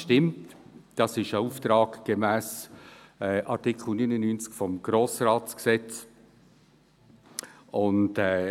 Dies ist ein Auftrag gemäss Artikel 99 des Gesetzes über den Grossen Rat (Grossratsgesetz, GRG).